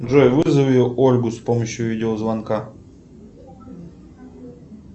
джой вызови ольгу с помощью видеозвонка